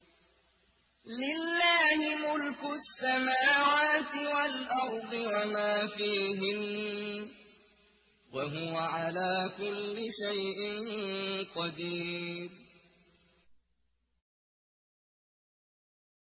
لِلَّهِ مُلْكُ السَّمَاوَاتِ وَالْأَرْضِ وَمَا فِيهِنَّ ۚ وَهُوَ عَلَىٰ كُلِّ شَيْءٍ قَدِيرٌ